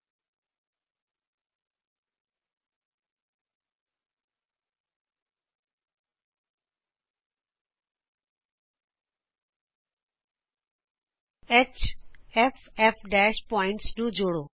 hfਫ਼ ਬਿੰਦੂਆਂ ਨੂੰ ਜੋੜੋ